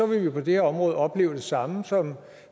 vil vi på det her område opleve det samme som